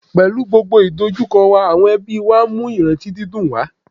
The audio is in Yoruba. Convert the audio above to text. Mahopọnna avùnnukundiọsọmẹnu whẹndo tọn mítọn lẹ hẹn linlin dagbe susu wá